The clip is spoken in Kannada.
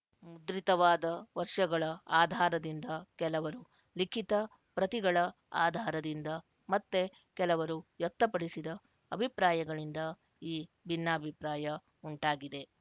ಮುದ್ರಿತವಾದ ವರ್ಶಗಳ ಆಧಾರದಿಂದ ಕೆಲವರು ಲಿಖಿತ ಪ್ರತಿಗಳ ಆಧಾರದಿಂದ ಮತ್ತೆ ಕೆಲವರು ವ್ಯಕ್ತಪಡಿಸಿದ ಅಭಿಪ್ರಾಯಗಳಿಂದ ಈ ಭಿನ್ನಾಭಿಪ್ರಾಯ ಉಂಟಾಗಿದೆ